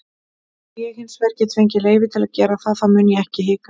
Ef ég hinsvegar get fengið leyfi til að gera það þá mun ég ekki hika.